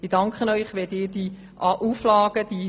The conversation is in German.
Ich danke Ihnen, wenn Sie die Auflagen befürworten.